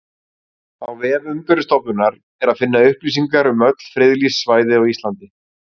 Á vef Umhverfisstofnunar er að finna upplýsingar um öll friðlýst svæði á Íslandi.